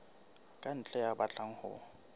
ka ntle ya batlang ho